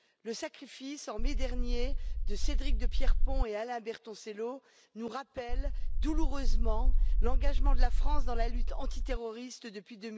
Le sacrifice en mai dernier de Cédric de Pierrepont et Alain Bertoncello nous rappelle douloureusement l'engagement de la France dans la lutte antiterroriste depuis